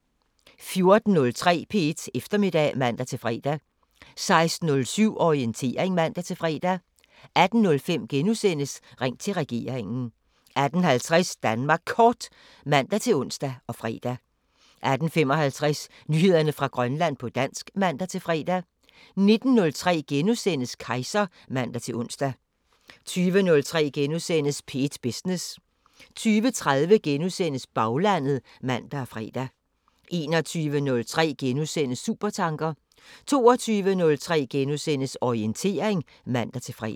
14:03: P1 Eftermiddag (man-fre) 16:07: Orientering (man-fre) 18:05: Ring til regeringen * 18:50: Danmark Kort (man-ons og fre) 18:55: Nyheder fra Grønland på dansk (man-fre) 19:03: Kejser *(man-ons) 20:03: P1 Business * 20:30: Baglandet *(man og fre) 21:03: Supertanker * 22:03: Orientering *(man-fre)